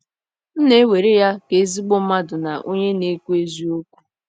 M na - ewere ya ka ezigbo mmadụ na onye na - ekwu eziokwu.